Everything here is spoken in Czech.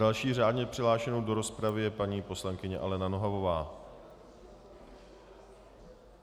Další řádně přihlášenou do rozpravy je paní poslankyně Alena Nohavová.